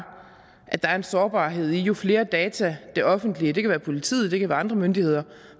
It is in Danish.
at der er en sårbarhed jo flere data det offentlige det kan være politiet det kan være andre myndigheder